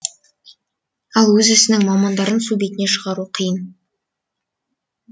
ал өз ісінің мамандарын су бетіне шығару қиын